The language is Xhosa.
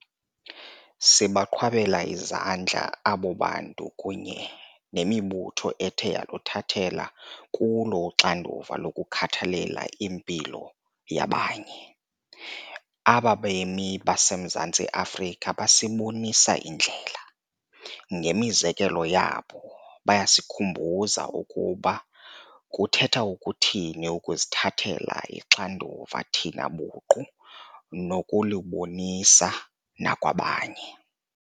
Sibaqhwabela izandla abo bantu kunye nemibutho ethe yaluthathela kulo uxanduva lokukhathalela impilo yabanye. Aba bemi baseMzantsi Afrika basibonisa indlela. Ngemizekelo yabo, bayasikhumbuza ukuba kuthetha ukuthini ukuzithathela uxanduva thina buqu nokulubonisa nakwabanye.